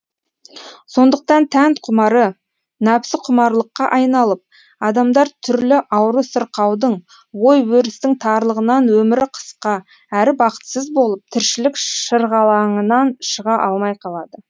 сондықтан тән құмары нәпсіқұмарлыққа айналып адамдар түрлі ауру сырқаудың ой өрістің тарлығынан өмірі қысқа әрі бақытсыз болып тіршілік шырғалаңынан шыға алмай қалады